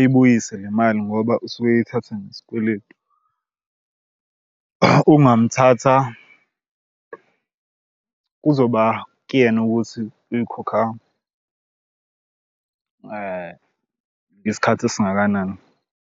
ebuyise le mali ngoba usuke eyithatha ngesikweletu. Ungamthatha kuzoba kuyena ukuthi uyikhokha isikhathi esingakanani.